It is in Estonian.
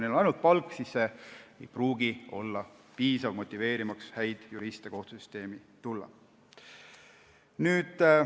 Ainult palk ei pruugi olla piisav motiveerimaks häid juriste kohtusüsteemi tulema.